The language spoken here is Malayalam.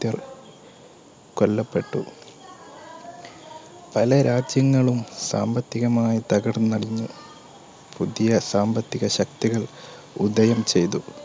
കൊല്ലപ്പെട്ടു. പല രാജ്യങ്ങളും സാമ്പത്തികമായിതകർന്നടിഞ്ഞു. പുതിയ സാമ്പത്തിക ശക്തികൾ ഉദയം ചെയ്തു.